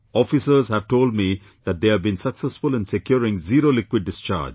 Officers have told me that they have been successful in securing zero liquid discharge